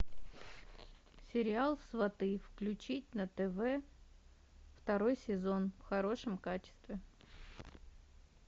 сериал сваты включить на тв второй сезон в хорошем качестве